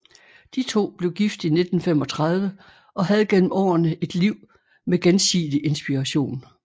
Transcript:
De to blev gift i 1935 og havde gennem årene et liv med gensidig inspiration